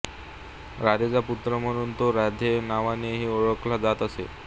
राधेचा पुत्र म्हणून तो राधेय नावानेही ओळखला जात असे